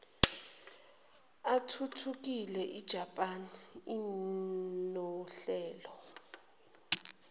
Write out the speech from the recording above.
athuthukile ijaphani inohlelo